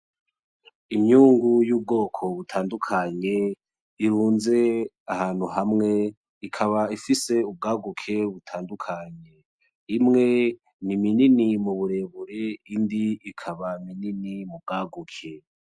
Imyungu y'ubwoko butandukanye ,irunze ahantu hamwe, ikaba ifise ubwaguke butandukanye; imwe ni minini muburebure iyindi ikaba mini mubwaguke.